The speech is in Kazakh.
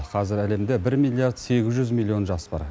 қазір әлемде бір миллиард сегіз жүз миллион жас бар